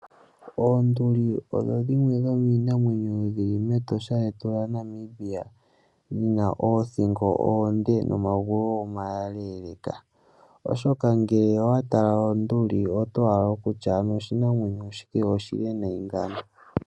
Oonduli odho dhimwe dhomiinamwenyo yili mEtosha lyetu lya Namibia. Dhina oothingo oonde nomagulu omaleeleka oshoka ngele owa tala onduli oto hala okutya ano oshinamwenyo shika oshili nee ngiini ngawo.